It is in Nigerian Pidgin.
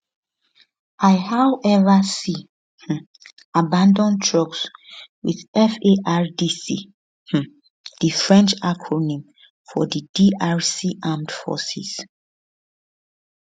i however see um abanAcceptedd trucks with fardc um di french acronym for di drc armed forces